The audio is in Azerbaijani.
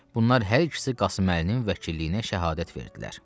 Bunlar hər ikisi Qasım Əlinin vəkilliyinə şəhadət verdilər.